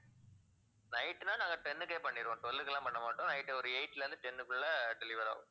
night ன்னா நாங்க ten உக்கே பண்ணிடுவோம். twelve க்கு எல்லாம் பண்ண மாட்டோம். night ஒரு eight ல இருந்து ten உக்குள்ள deliver ஆகும்.